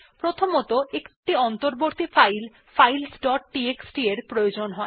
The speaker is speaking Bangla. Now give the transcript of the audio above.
প্রথমত একটি অন্তর্বর্তী ফাইল ফাইলস ডট টিএক্সটি প্রয়োজন হয়